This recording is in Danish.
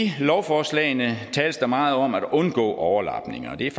lovforslagene tales der meget om at undgå overlapning og det er